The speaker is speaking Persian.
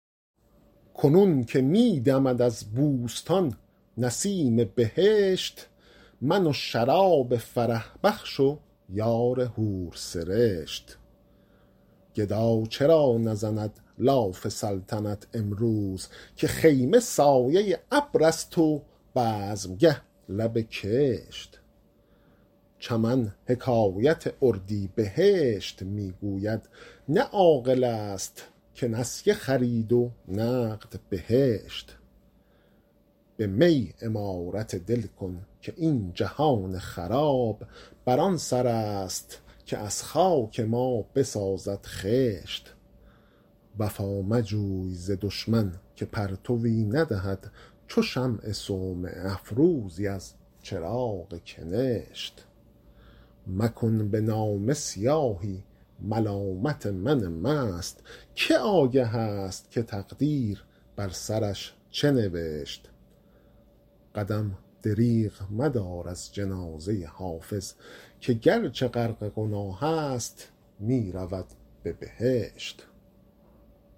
کنون که می دمد از بوستان نسیم بهشت من و شراب فرح بخش و یار حورسرشت گدا چرا نزند لاف سلطنت امروز که خیمه سایه ابر است و بزمگه لب کشت چمن حکایت اردیبهشت می گوید نه عاقل است که نسیه خرید و نقد بهشت به می عمارت دل کن که این جهان خراب بر آن سر است که از خاک ما بسازد خشت وفا مجوی ز دشمن که پرتوی ندهد چو شمع صومعه افروزی از چراغ کنشت مکن به نامه سیاهی ملامت من مست که آگه است که تقدیر بر سرش چه نوشت قدم دریغ مدار از جنازه حافظ که گرچه غرق گناه است می رود به بهشت